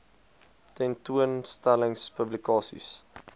tentoon stellings publikasies